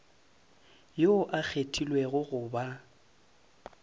yoo a kgethilwego go ba